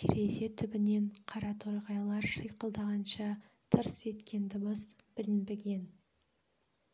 терезе түбінен қараторғайлар шиқылдағанша тырс еткен дыбыс білінбген